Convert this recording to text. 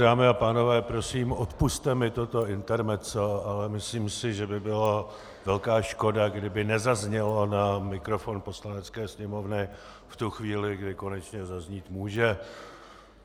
Dámy a pánové, prosím, odpusťte mi toto intermezzo, ale myslím si, že by byla velká škoda, kdyby nezaznělo na mikrofon Poslanecké sněmovny v tu chvíli, kdy konečně zaznít může.